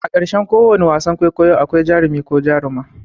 A ƙarshen ko wane wasan kwaikwayo akwai jarumi ko jaruma.